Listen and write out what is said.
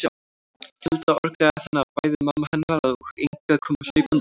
Tilda orgaði þannig að bæði mamma hennar og Inga komu hlaupandi út.